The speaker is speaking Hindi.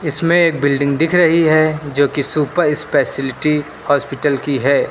इसमें एक बिल्डिंग दिख रही है जो कि सुपर स्पेशलिटी हॉस्पिटल की है।